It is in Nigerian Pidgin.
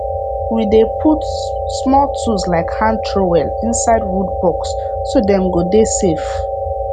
we dey put small tools like hand trowel inside wood box so dem go dey safe